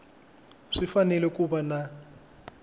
swi fanele ku va na